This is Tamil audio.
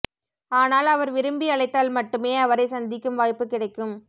ஆனால் அவர் விரும்பி அழைத்தால் மட்டுமே அவரை சந்திக்கும் வாய்ப்பு கிடைக்கும்